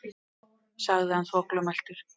sagði hann þvoglumæltur.